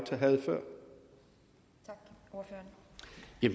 før jeg